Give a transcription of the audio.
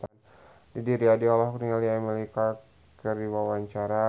Didi Riyadi olohok ningali Emilia Clarke keur diwawancara